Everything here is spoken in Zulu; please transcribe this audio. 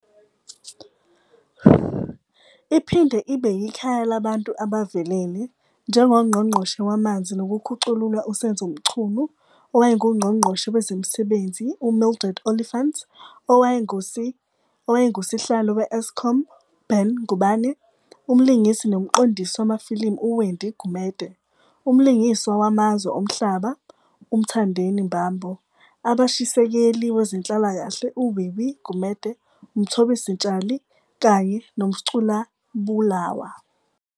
Iphinde ibe yikhaya labantu abavelele, njengoNgqongqoshe Wamanzi Nokukhucululwa uSenzo Mchunu, OwayenguNgqongqoshe Wezemisebenzi uMildred Oliphant, Owayengusi owayengusihlalo we-Eskom Ben Ngubane, Umlingisi nomqondisi wamafilimu uWendy Gumede, Umlingiswa Wamazwe Omhlaba uMthandeni Mbambo, Abashisekeli Wezenhlalakahle uWiwi Gumede, uMthobisi Mtshali kanye noMsculabulawa.